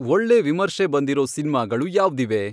ಒಳ್ಳೆ ವಿಮರ್ಶೆ ಬಂದಿರೋ ಸಿನ್ಮಾಗಳು ಯಾವ್ದಿವೆ